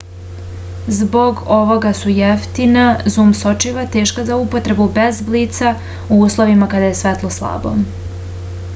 zbog ovoga su jeftina zum sočiva teška za upotrebu bez blica u uslovima kada je svetlo slabo